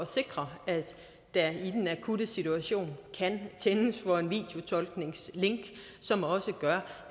sikre at der i den akutte situation kan tændes for et videotolkningslink